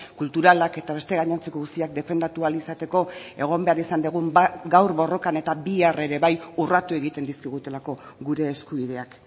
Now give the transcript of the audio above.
kulturalak eta beste gainontzeko guztiak defendatu ahal izateko egon behar izan dugun gaur borrokan eta bihar ere bai urratu egiten dizkigutelako gure eskubideak